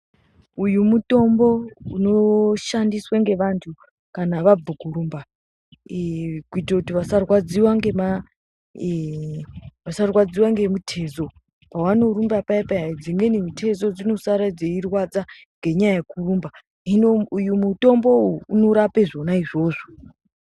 Uyu mutombo unoshandiswa ngevanthu kana vabve kurumba kuitire kuti vasarwadziwe ngemitezo pavanorumba payapaya dzimweni mitezo dzinosara dzeirwadza ngenyaya yekurumba. Hino uyu mutombo uwu unorape zvona izvozvo.